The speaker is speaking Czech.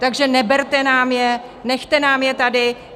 Takže neberte nám je, nechte nám je tady.